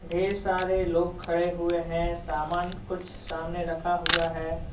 ढेर सारे लोग खड़े हुए हैं सामान कुछ सामने रखा हुआ है।